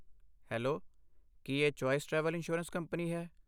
Hello, ਕੀ ਇਹ choice travel insurance company ਹੈ?